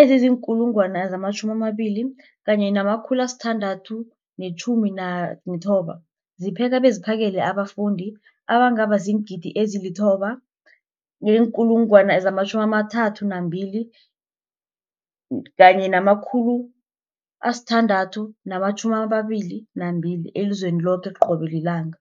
ezizi-20 619 zipheka beziphakele abafundi abangaba ziingidi ezili-9 032 622 elizweni loke qobe ngelanga.